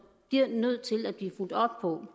bliver nødt til at blive fulgt op på